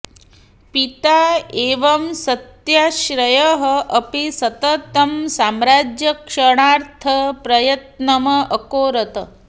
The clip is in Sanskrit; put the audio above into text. पिता इव सत्याश्रयः अपि सततं साम्राज्यरक्षणार्थं प्रयत्नम् अकरोत्